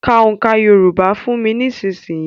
Ka òǹkà Yorùbá fún mi nísìnyìí.